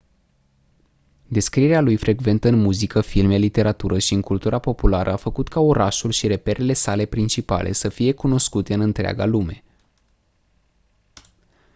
descrierea lui frecventă în muzică filme literatură și în cultura populară a făcut ca orașul și reperele sale principale să fie cunoscute în întreaga lume